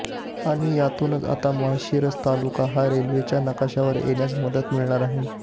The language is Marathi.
आणि यातूनच आता माळशिरस तालुका हा रेल्वेंच्या नकाशावर येण्यास मदत मिळणार आहे